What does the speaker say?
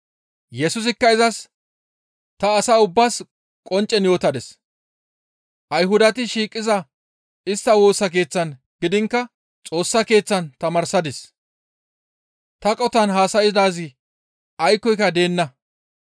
Yesusikka izas, «Ta asa ubbaas qonccen yootadis; Ayhudati shiiqiza istta Woosa Keeththan gidiinkka Xoossa Keeththan tamaarsadis; ta qotan haasaydaazi aykkoyka deenna.